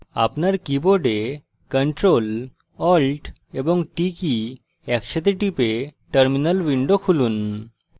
আপনার keyboard ctrl alt এবং t কী একসাথে টিপে terminal window খুলুন